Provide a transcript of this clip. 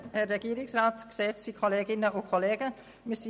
Ich gebe Grossrätin Fuhrer das Wort.